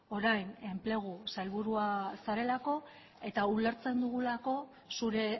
orain enplegu sailburua zarelako eta ulertzen dugulako zure